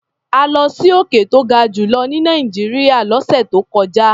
A lọ sí òkè tó ga jù lọ ní Nàìjíríà lọ́sẹ̀ tó kọjá.